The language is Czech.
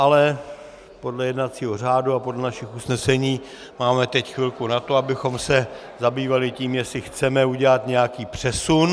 Ale podle jednacího řádu a podle našich usnesení máme teď chvilku na to, abychom se zabývali tím, jestli chceme udělat nějaký přesun.